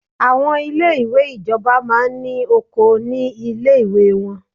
Àwọn ilé ìwé ìjọba máa ní oko ní ilé ìwé wọ́n.